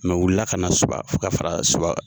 Mɛ o wilila ka na Suba fo ka fara Suba